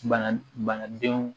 Bana bana denw